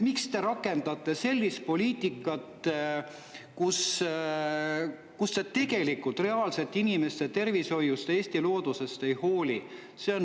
Miks te rakendate sellist poliitikat, kus te tegelikult reaalselt inimeste tervishoiust ega Eesti loodusest ei hooli?